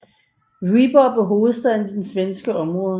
Vyborg blev hovedstad i det svenske område